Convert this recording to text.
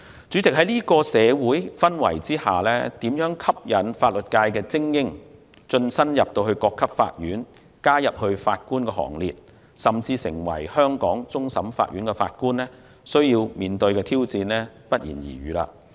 主席，在這種社會氛圍下，如何吸引法律界精英晉身各級法院，加入法官行列，甚至成為香港終審法院法官，需要面對的挑戰不言而喻。